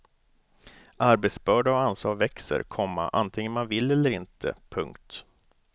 Arbetsbörda och ansvar växer, komma antingen man vill eller inte. punkt